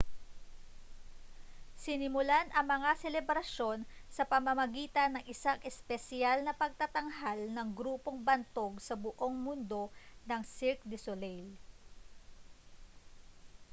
sinimulan ang mga selebrasyon sa pamamagitan ng isang espesyal na pagtatanghal ng grupong bantog sa buong mundo na cirque du soleil